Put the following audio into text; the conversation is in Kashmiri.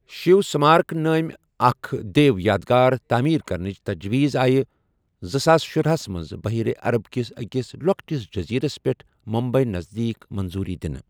شیو سمارک نٲمی اکھ دیو یادگار تعمیر کرنٕچ تجویز آیہِ زٕساس شُراہ ہسَ منٛز بحیرہ عرب کِس أکِس لۅکٹِس جزیرس پٮ۪ٹھ ممبئی نذدیک منظوری دِنہٕ۔